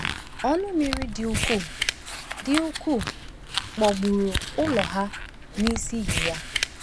Ọnụ mmiri dị ukwuu dị ukwuu kpọpụụrụ ụlọ ha n’isi iyi ya.